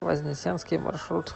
вознесенский маршрут